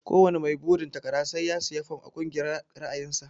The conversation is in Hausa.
Ko wani mai burin takara sai ya siya fom a kungiyar ra'ayin sa.